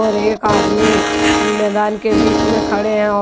एक आदमी मैदान के बीच में खड़े हैं और।